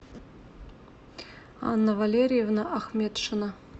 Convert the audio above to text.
анна валерьевна ахметшина